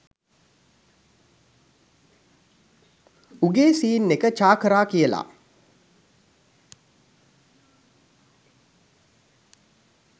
උගේ සීන් එක චා කරා කියලා